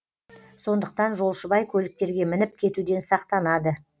сондықтан жолшыбай көліктерге мініп кетуден сақтанады